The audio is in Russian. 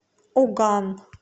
уган